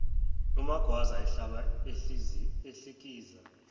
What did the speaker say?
umagwaza ehlaba ehlikiza